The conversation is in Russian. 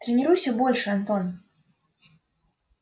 тренируйся больше антон